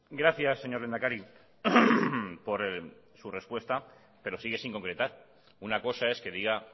gracias señor lehendakari por su respuesta pero sigue sin concretar una cosa es que diga